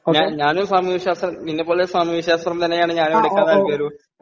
ഞാനും സാമൂഹ്യശാസ്ത്രം, നിന്നെപ്പോലെ സാമൂഹ്യശാസ്ത്രം തന്നെയാണ് ഞാനും എടുക്കാൻ ..താൽപര്യപ്പെടുന്നത്.